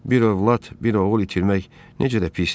Bir övlad, bir oğul itirmək necə də pisdir?